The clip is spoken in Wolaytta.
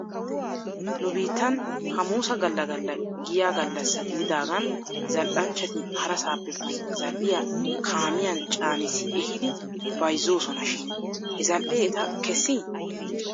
Nu biittan hamuusa gala gala giya gallassa gididaagan zal'anchchati harasaappe bantta zal'iyaa kaamiyan caanissi ehiidi bayzoosona shin he zal"ee eta kessii?